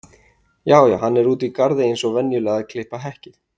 Já já, hann er úti í garði eins og venjulega að klippa hekkið.